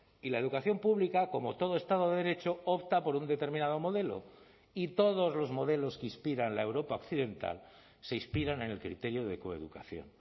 y la educación pública como todo estado de derecho opta por un determinado modelo y todos los modelos que inspiran la europa occidental se inspiran en el criterio de coeducación